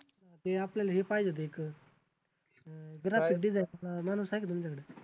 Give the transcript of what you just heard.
ते आपल्याला हे पाहिजे होतं एक अं graphic design चा माणूस आहे का तुमच्याकडं?